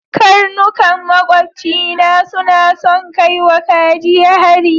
Karnukan maƙobcina suna son kai wa kaji hari.